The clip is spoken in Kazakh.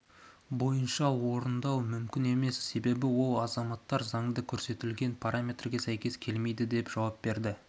бойынша орындау мүмкін емес себебі ол азаматтар заңда көрсетілген параметрге сәйкес келмейді деп жауап берді